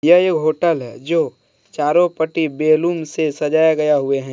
यह होटल है जो चारों पट्टी बैलून से सजाया गया हुए हैं।